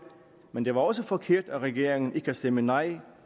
men det var også forkert af regeringen ikke at stemme nej